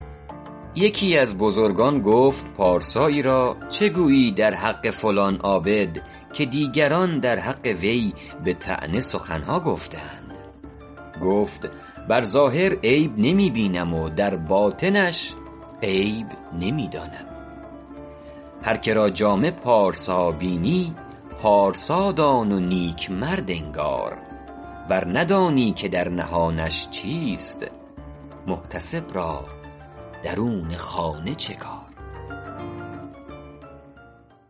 یکی از بزرگان گفت پارسایی را چه گویی در حق فلان عابد که دیگران در حق وی به طعنه سخن ها گفته اند گفت بر ظاهرش عیب نمی بینم و در باطنش غیب نمی دانم هر که را جامه پارسا بینی پارسا دان و نیک مرد انگار ور ندانی که در نهانش چیست محتسب را درون خانه چه کار